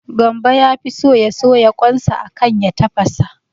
Gambo yafi so ya soya kwan sa akan ya tafasa